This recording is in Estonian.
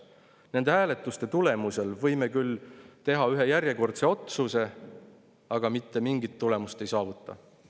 Nende hääletuste tulemusel võime küll teha ühe järjekordse otsuse, aga mitte mingit tulemust me ei saavuta.